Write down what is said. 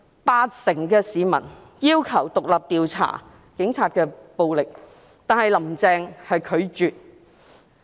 八成市民要求就警察的暴力進行獨立調查，但"林鄭"拒絕。